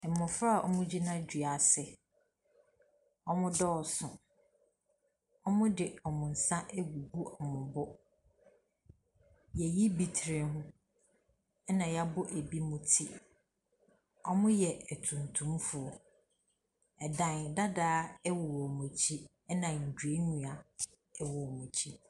Mmɔfra a wɔgyina dua ase. Wɔdɔɔso. Wɔde wɔn nsa agugu wɔn bo. Wɔayi bi tiri ho, ɛnna wɔabɔ binom ti. Wɔyɛ atuntumfoɔ. Dan dadaa wɔ wɔn akyi, ɛnna nnuannua wɔ wɔn akyi.